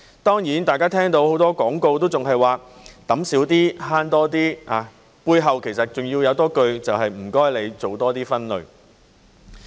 當然，大家聽到很多廣告都還是說"揼少啲慳多啲"，背後其實還有一句，就是"請你多做分類"。